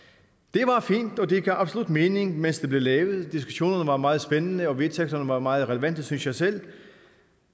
var fint og det gav absolut mening mens det blev lavet diskussionerne var meget spændende og vedtægterne var meget relevante synes jeg selv